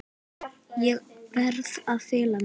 Ég verð að fela mig.